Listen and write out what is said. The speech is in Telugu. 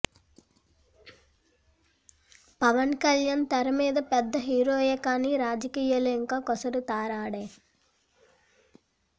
పవన్ కళ్యాణ్ తెర మీద పెద్ద హీరోయే కానీ రాజకీయాల్లో యింకా కొసరు తారడే